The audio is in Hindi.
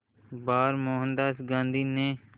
बार मोहनदास गांधी ने